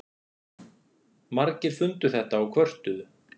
Margir fundu þetta og kvörtuðu.